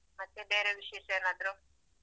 ಮತ್ತೆ ಬೇರೆ ವಿಶೇಷ ಏನಾದ್ರು.